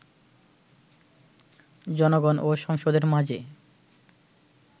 জনগণ ও সংসদের মাঝে